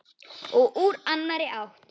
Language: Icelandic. Og úr annarri átt.